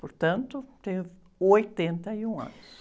Portanto, tenho oitenta e um anos.